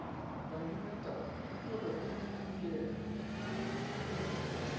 babinatau o tloge o tsitsinkele